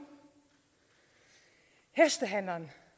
hestehandleren